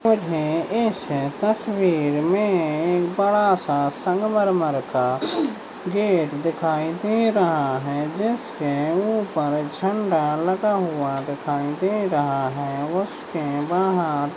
मुझे इस तस्वीर मे एक बड़ा सा संगमरमर का गेट दिखाई दे रहा है जिसके उपर झंडा लगा हुआ दिखाई दे रहा है उसके बाहर --